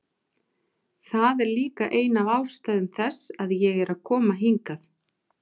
Það er líka ein af ástæðum þess að ég er að koma hingað.